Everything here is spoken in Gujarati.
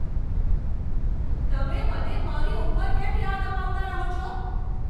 તમે મને મારી ઉંમર કેમ યાદ અપાવતા રહો છો?